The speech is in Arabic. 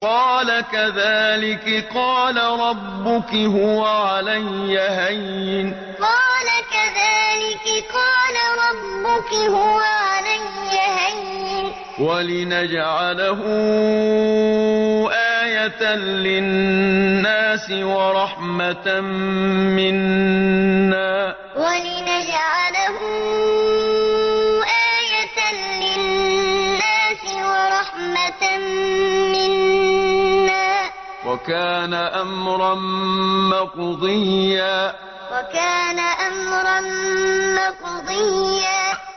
قَالَ كَذَٰلِكِ قَالَ رَبُّكِ هُوَ عَلَيَّ هَيِّنٌ ۖ وَلِنَجْعَلَهُ آيَةً لِّلنَّاسِ وَرَحْمَةً مِّنَّا ۚ وَكَانَ أَمْرًا مَّقْضِيًّا قَالَ كَذَٰلِكِ قَالَ رَبُّكِ هُوَ عَلَيَّ هَيِّنٌ ۖ وَلِنَجْعَلَهُ آيَةً لِّلنَّاسِ وَرَحْمَةً مِّنَّا ۚ وَكَانَ أَمْرًا مَّقْضِيًّا